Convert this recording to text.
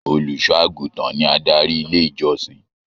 Olùṣọ àgùntàn ní adarí ilé ìjọsìn.